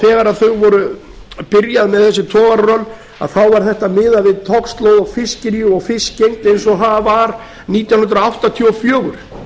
þegar þau voru að byrja með þessi togararöll var þetta miðað við togslóð og fiskirí og fiskgengd eins og það var nítján hundruð áttatíu og fjögur